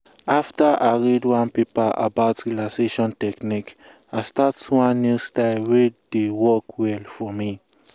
after i read one paper about relaxation technique i start one new style wey dey work well for me.